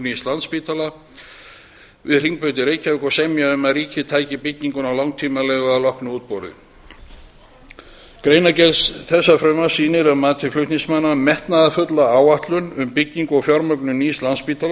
nýs landspítala háskólasjúkrahúss við hringbraut í reykjavík og að semja um að ríkið tæki bygginguna á langtímaleigu að loknu útboði greinargerð þessa frumvarps sýnir að mati flutningsmanna metnaðarfulla áætlun um byggingu og fjármögnun nýs landspítala